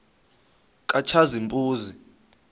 katshazimpuzi